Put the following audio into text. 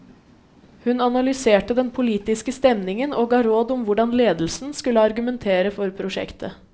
Hun analyserte den politiske stemningen og ga råd om hvordan ledelsen skulle argumentere for prosjektet.